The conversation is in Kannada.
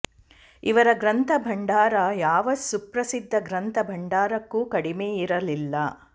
ಇವರ ಗ್ರಂಥ ಭಂಢಾರ ಯಾವ ಸುಪ್ರಸಿದ್ಧ ಗ್ರಂಥ ಭಂಢಾರಕ್ಕೂ ಕಡಿಮೆಯಿರಲಿಲ್ಲ